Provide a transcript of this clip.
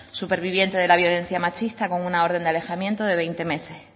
superviviente de la violencia machista con una orden de alejamiento de veinte meses